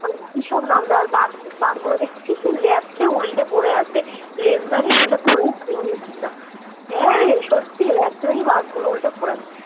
কিসব নাম দেওয়া আর বাঘ বাঘ গুলো দেখছি কি খেয়ে উল্টে পরে আছে লেজ হ্যাঁ রে সত্যি খেয়ে বাঘগুলো উল্টে পরে আছে